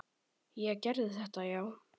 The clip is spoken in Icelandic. Ég gerði þetta, já.